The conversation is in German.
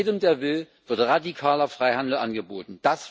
Jedem, der will, wird radikaler Freihandel angeboten.